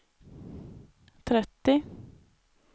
trettio